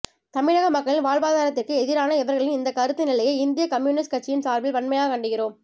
தமிழக மக்களின் வாழ்வாதாரத்திற்கு எதிரான இவர்களின் இந்த கருத்து நிலையை இந்திய கம்யூனிஸ்டு கட்சியின் சார்பில் வன்மையாக கண்டிக்கிறோம்